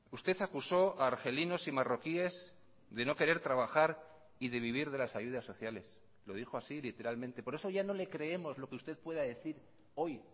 usted acusó a argelinos y marroquíes de no querer trabajar y de vivir de las ayudas sociales lo dijo así literalmente por eso ya no le creemos lo que usted pueda decir hoy